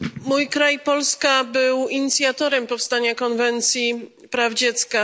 Mój kraj Polska był inicjatorem powstania Konwencji o prawach dziecka.